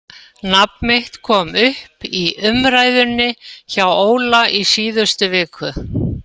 Nafn mitt kom upp í umræðunni hjá Óla í síðustu viku.